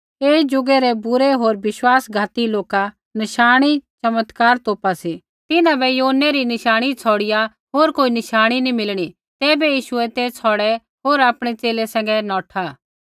ऐई ज़ुगै रै बूरे होर विश्वासघाती लोका नशाणी चमत्कार तोपा सी पर तिन्हां बै योनै रै नशाणी छ़ौड़िआ होर कोई नशाणी नी मिलणा तैबै यीशुऐ ते छ़ौड़ै होर आपणै च़ेले सैंघै नौठा